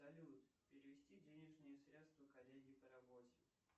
салют перевести денежные средства коллеге по работе